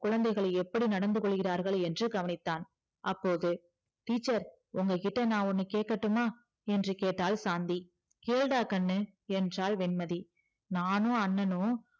குழந்தைகள் எப்படி நடந்துகொள்கிறார்கள் என்று கவனித்தான் அப்போது teacher உங்ககிட்ட நா ஒன்னு கேக்கட்டுமா என்று கேட்டால் சாந்தி கேளுடா கண்ணு என்றால் வெண்மதி நானு அண்ணனு